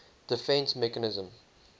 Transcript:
defence mechanism